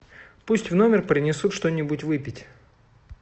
пусть в номер принесут что нибудь выпить